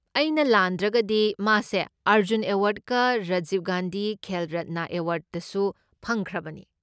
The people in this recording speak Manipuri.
ꯑꯩꯅ ꯂꯥꯟꯗ꯭ꯔꯒꯗꯤ, ꯃꯥꯁꯦ ꯑꯔꯖꯨꯟ ꯑꯦꯋꯥꯔꯗꯀ ꯔꯥꯖꯤꯕ ꯒꯥꯟꯙꯤ ꯈꯦꯜ ꯔꯠꯅ ꯑꯦꯋꯥꯔꯗꯁꯨ ꯐꯪꯈ꯭ꯔꯕꯅꯤ꯫